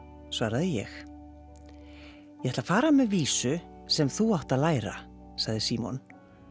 svaraði ég ég ætla að fara með vísu sem þú átt að læra sagði Símon